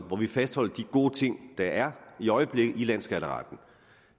hvor vi fastholder de gode ting der er i øjeblikket i landsskatteretten